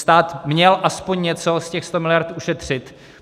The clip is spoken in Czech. Stát měl aspoň něco z těch 100 miliard ušetřit.